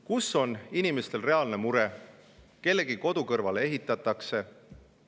Kus on inimestel reaalne mure, kas kellegi kodu kõrvale ehitatakse?